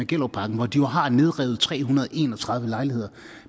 gellerupparken hvor de jo har nedrevet tre hundrede og en og tredive lejligheder